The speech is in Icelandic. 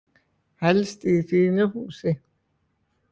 Helst í fínu húsi.